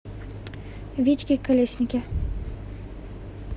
витьке колеснике